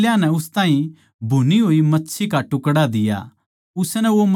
उसनै वो मच्छी का टुकड़ा लेकै उनकै आग्गै खाया